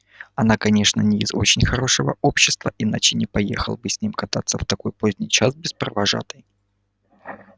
она конечно не из очень хорошего общества иначе не поехала бы с ним кататься в такой поздний час без провожатой